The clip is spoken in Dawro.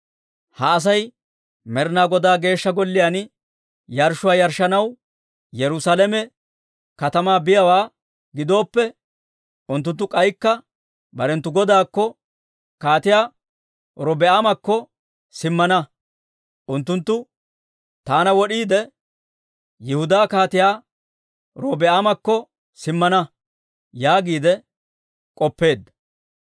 Ha Asay Med'inaa Godaa geeshsha Golliyaan yarshshuwaa yarshshanaw Yerusaalame katamaa biyaawaa gidooppe, unttunttu k'aykka barenttu godaakko, Kaatiyaa Robi'aamakko simmana. Unttunttu taana wod'iide, Yihudaa Kaatiyaa Robi'aamakko simmana» yaagiide k'oppeedda.